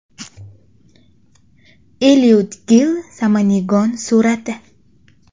Eliud Gil Samanegon surati.